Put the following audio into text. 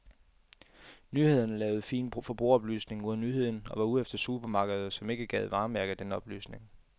Nyhederne lavede fin forbrugeroplysning ud af nyheden og var ude efter supermarkeder, som ikke gad varemærke den oplysning.